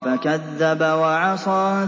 فَكَذَّبَ وَعَصَىٰ